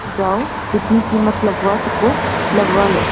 जाओ जितनी कीमत लगवा सको लगवा लो